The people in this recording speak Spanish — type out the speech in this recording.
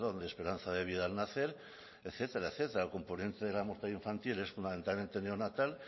de esperanza de vida al nacer etcétera etcétera el componente de la muerte infantil es fundamentalmente neonatal